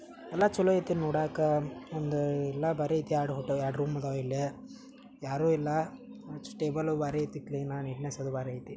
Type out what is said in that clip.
ಎಲ್ಲಾ ಚಲೋ ಐತೆ ನೋಡಕ್ಕ ಬಂದು ಎಲ್ಲಾ ಬಾರಿ ಆಯ್ತಾ ಎರಡು ರೂಮು ಇದಾವ ಇಲ್ಲಿ ಯಾರು ಇಲ್ಲ ಟೇಬಲ್ ಕ್ಲೀನಾಗಿದೆ ನೀಟ್ನೆಸ್ ಬಾರಿ ಐತಿ.